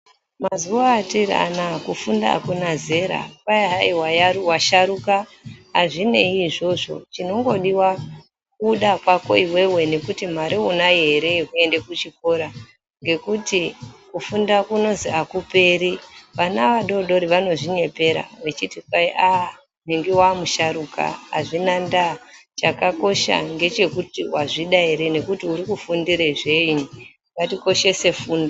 Mazuwa etiri anaa kufunda hakuna zera Kwai hai washaruka azvinei izvozvo. Chinongodiwa kuda kwako iwewe nekuti mare unayo ere yekuenda kuchikora ngekuti kufunda kunozi akuperi. Vana vadodori vanozvinyepera vechiti Kwai aaaah nhingi wamusharuka azvina ndaa, chakakosha ngechekuti wazvida ere nekuti uri Kufundira zvei. Ngatikoshese fundo